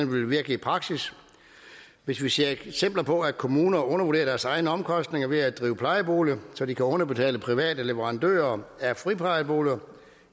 vil virke i praksis hvis vi ser eksempler på at kommuner undervurderer deres egne omkostninger ved at drive plejeboliger så de kan underbetale private leverandører af friplejeboliger